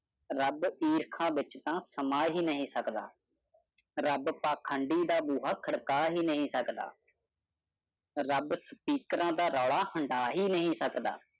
ਰੱਬ ਇਰਖਾ ਵਿੱਚ ਤਾਂ ਸਮਾਂ ਹੀ ਨਹੀਂ ਸਕਦਾ। ਰੱਬ ਪਾਂਖੰਡੀ ਦਾ ਬੂਹਾ ਖੜਕਾ ਹੀ ਨਹੀਂ ਸਕਦਾ। ਰੱਬ ਸਪੀਕਰਾਂ ਦਾ ਰੌਲਾ ਹੰਢਾ ਹੀ ਨਹੀਂ ਸਕਦਾ।